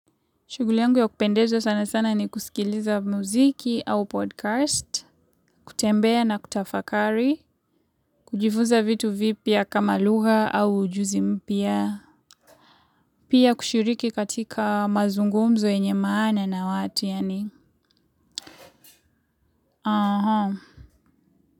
Shuguli yangu ya kupendeza sana sana ni kusikiliza muziki au podcast, kutembea na kutafakari, kujifunza vitu vipia kama lugha au ujuzi mpia, pia kushiriki katika mazungumzo yenye maana na watu yani, aha.